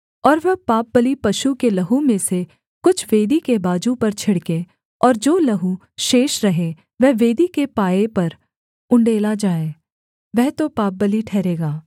और वह पापबलि पशु के लहू में से कुछ वेदी के बाजू पर छिड़के और जो लहू शेष रहे वह वेदी के पाए पर उण्डेला जाए वह तो पापबलि ठहरेगा